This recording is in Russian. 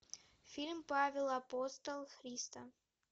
фильм павел апостол христа